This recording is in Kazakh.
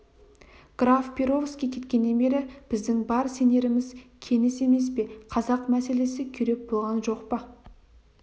граф перовский кеткеннен бері біздің бар сенеріміз кеніс емес пе қазақ мәселесі күйреп болған жоқ па